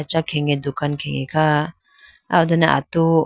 acha khege dukan khe kha aya o done atu.